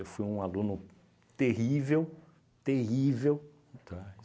Eu fui um aluno terrível, terrível, tá?